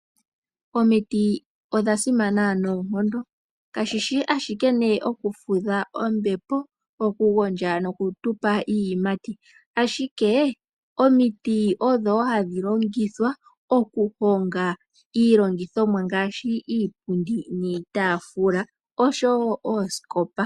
Omiti odha simana noonkondo kashishi ashike oku fudha ombepo, oku gondja nokutupa iiyimati ashike omiti odho hadhi longithwa oku honga iilongithomwa ngaashi iipundi niitafula osho wo oosikopa.